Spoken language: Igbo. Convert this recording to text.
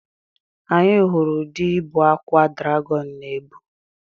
Anyị hụrụ ụdị ibu akwa dragọn na-ebu.